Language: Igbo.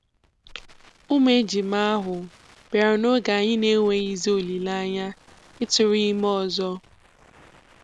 ụmụ ejima ahụ bịara n'oge anyị n'enweghịzi olileanya ịtụrụ ime ọzọ.